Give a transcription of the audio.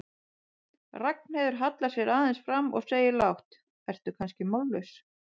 Ragnheiður hallar sér aðeins fram og segir lágt, ertu kannski mállaus?